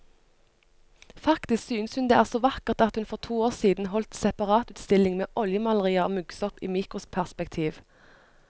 Faktisk synes hun det er så vakkert at hun for to år siden holdt separatutstilling med oljemalerier av muggsopp i mikroperspektiv.